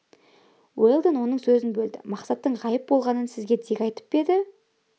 уэлдон оның сөзін бөлді мақсаттың ғайып болғанын сізге дик айтып па еді